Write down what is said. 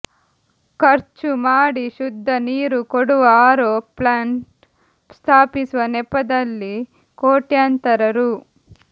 ಖರ್ಚು ಮಾಡಿ ಶುದ್ಧ ನೀರು ಕೊಡುವ ಆರೋ ಪ್ಲ್ಶಾಂಟ್ ಸ್ಥಾಪಿಸುವ ನೆಪದಲ್ಲಿ ಕೊಟ್ಶಂತರ ರೂ